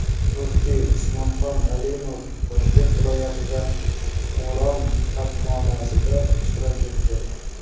Muftiy Usmonxon Alimov Toshkent viloyatida Qur’on xatmonasida ishtirok etdi.